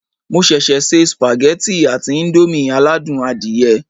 Mo ṣẹ̀ṣẹ̀ se sùpàgẹ́tì àti íńdómì aládùn adìyẹ